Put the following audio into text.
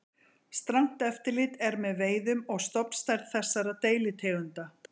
Strangt eftirlit er með veiðum og stofnstærð þessara deilitegunda.